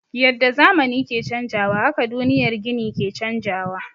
Yadda zamani ke canjawa haka duniyar gini ke canjawa.